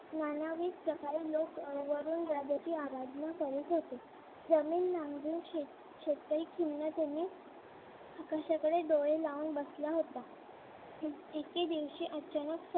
नानविविध प्रकारे लोक वरून राज्याची आराधना करत होते जमीन नांगरून शेतकरी खिन्नतेने आकाशाकडे डोळे लावून बसला होता एके दिवशी अचानक